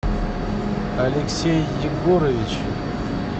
алексей егорович